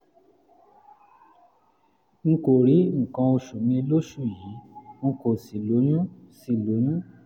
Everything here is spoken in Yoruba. n kò rí nǹkan oṣù mi lóṣù yìí n kò sì lóyún sì lóyún